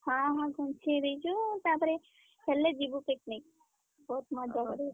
ହଁ ହଁ ଘୁଞ୍ଚେଇଦେଇଛୁ ତାପରେ ହେଲେ ଯିବୁ picnic ବହୁତ୍ ମଜା କରିବୁ।